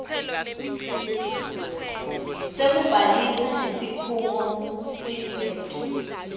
sekubhalisa nesikhungo seabet